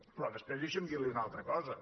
però després deixi’m dir li una altra cosa